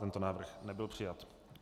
Tento návrh nebyl přijat.